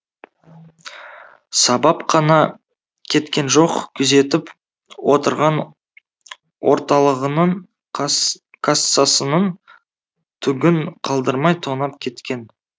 сабап қана кеткен жоқ күзетіп отырған орталығының кассасының түгін қалдырмай тонап кеткен